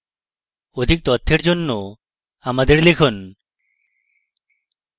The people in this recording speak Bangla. আরো তথ্যের জন্য দয়া করে contact @spokentutorial orgএ ইমেইল করুন